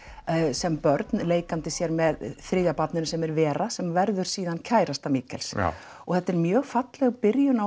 sem börn leikandi sér með þriðja barninu sem er Vera sem verður síðan kærasta og þetta er mjög falleg byrjun